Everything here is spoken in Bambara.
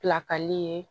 Pilakali ye